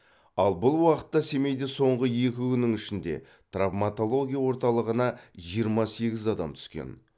ал бұл уақытта семейде соңғы екі күннің ішінде травматология орталығына жиырма сегіз адам түскен